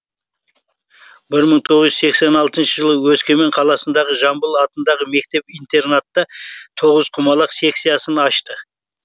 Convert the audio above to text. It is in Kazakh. бір мың тоғыз жүз сексен алтыншы жылы өскемен қаласындағы жамбыл атындағы мектеп интернатта тоқызқұмалақ секциясын ашты